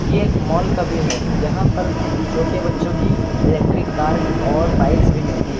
ये एक मॉल का व्यू है यहां पर छोटे बच्चों की इलेक्ट्रिक कार और बाइक्स भी मिलती है।